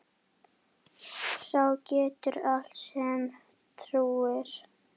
Sá getur allt sem trúir.